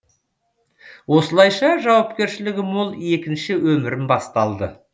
осылайша жауапкершілігі мол екінші өмірім басталды